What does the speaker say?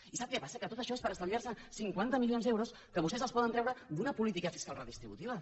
i sap què passa que tot això és per estalviar se cinquanta milions d’euros que vostès poden treure d’una política fiscal redistributiva